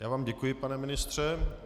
Já vám děkuji, pane ministře.